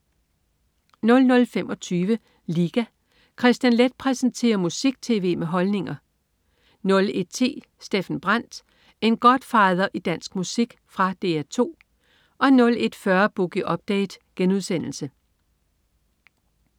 00.25 Liga. Kristian Leth præsenterer musik-tv med holdninger 01.10 Steffen Brandt. En Godfather i dansk musik. Fra DR 2 01.40 Boogie Update*